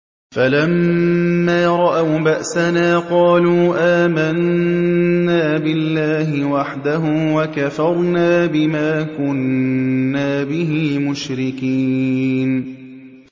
فَلَمَّا رَأَوْا بَأْسَنَا قَالُوا آمَنَّا بِاللَّهِ وَحْدَهُ وَكَفَرْنَا بِمَا كُنَّا بِهِ مُشْرِكِينَ